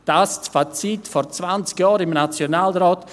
» Dies war das Fazit vor zwanzig Jahren im Nationalrat.